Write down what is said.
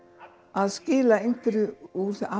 að skila einhverju úr